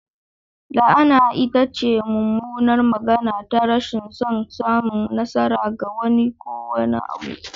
La'ana ita ce mummunar magana ta rashin son samun nasara ga wani ko wani abu.